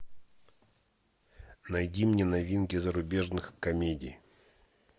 найди мне новинки зарубежных комедий